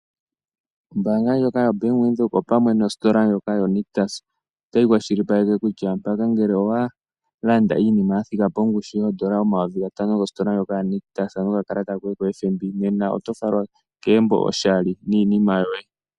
Ombaanga ndjoka yoBank Windhoek opamwe nositola ndjoka yoNictus, otayi kwashilipaleke kutya mpaka ngele owalanda iinima yathika pongushu yoodola omayovi gatano gositola ndjoka yaNictus nokakalata koye koFNB, nena otofalwa kegumbo oshali niinima yoye.